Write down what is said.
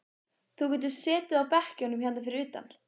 Á innanverðri hurð matarskápsins hangir plakat sem